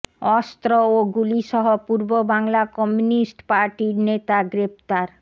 অস্ত্র ও গুলিসহ পূর্ব বাংলা কমিউনিস্ট পার্টির নেতা গ্রেফতার